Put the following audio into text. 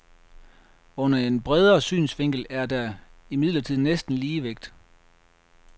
Under en bredere synsvinkel er der er imidlertid næsten ligevægt.